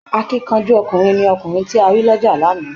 Akíkanjú ọkùnrin ni ọkùnrin ta rí lọ́jà lánàá